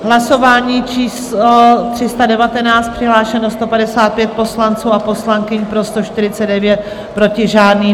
Hlasování číslo 319, přihlášeno 155 poslanců a poslankyň, pro 149, proti žádný.